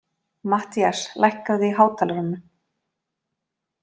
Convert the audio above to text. Mattías, lækkaðu í hátalaranum.